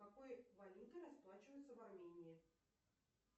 какой валютой расплачиваются в армении